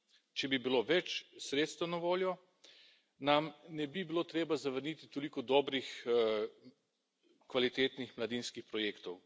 Če bi bilo več sredstev na voljo, nam ne bi bilo treba zavrniti toliko dobrih, kvalitetnih mladinskih projektov.